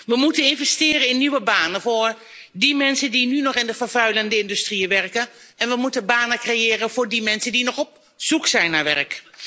We moeten investeren in nieuwe banen voor mensen die nu nog in vervuilende industrieën werken, en we moeten banen creëren voor mensen die nog op zoek zijn naar werk.